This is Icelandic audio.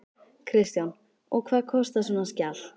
Kristján: Og hvað kostar svona skjal?